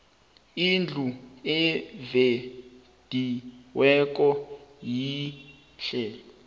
indlu evediweko yihle